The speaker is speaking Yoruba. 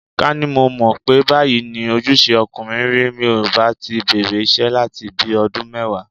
Ká ní mo mọ̀ pé báyìí ni ojúṣe ọkùnrin rí, mi ò bá ti bẹ̀rẹ̀ iṣẹ́ láti bi ọdún mẹ́wàá.